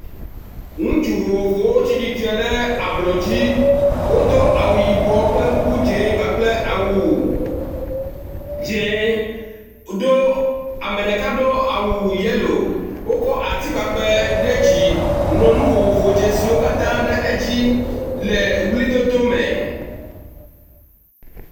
Ŋutsu vovovowo tsi tsitre ɖe ablɔdzi, wodo awu yibɔ kple kuku dzɛ̃ kpakple awu dzɛ̃ do ame ɖeka do awu yelo wokɔ ati kpakpɛ ɖe dzi, ŋlɔ nu vovovo dzesiwo katã ɖe edzi le ʋlidodo me.